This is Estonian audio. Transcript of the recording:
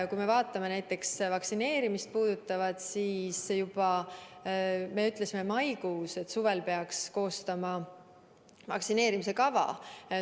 Mis puutub näiteks vaktsineerimisse, siis me ütlesime juba maikuus, et suvel peaks koostama vaktsineerimise kava.